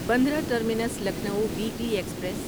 Bandra terminus Lucknow weekly express